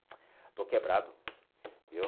Estou quebrado, viu?